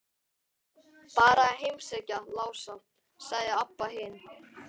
Bara að heimsækja Lása, sagði Abba hin.